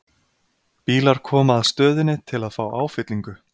Bílar koma að stöðinni til að fá áfyllingu.